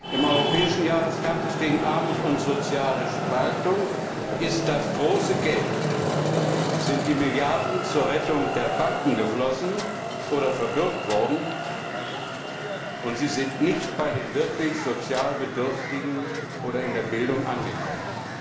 Im Europäischen Jahr des Kampfes gegen Armut und soziale Spaltung ist das große Geld, sind die Milliarden zur Rettung der Banken geflossen oder verbürgt worden, und sie sind nicht bei den wirklich sozial Bedürftigen oder in der Bildung angekommen.